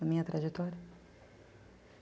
Na minha trajetória?